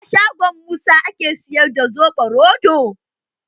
A shangon Musa ake siyar da soɓo roɗo?